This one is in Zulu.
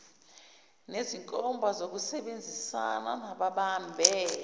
nezinkomba zokusebenzisana nababambe